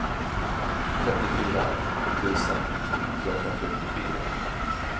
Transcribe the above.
trettiofyra tusen trehundrafyrtiofyra